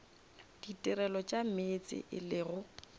ditirelo tša meetse e lego